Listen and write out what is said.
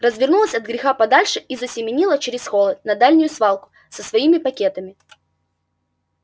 развернулась от греха подальше и засеменила через холод на дальнюю свалку со своими пакетами